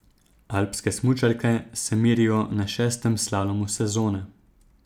Alpske smučarke se merijo na šestem slalomu sezone.